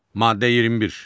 Maddə 21.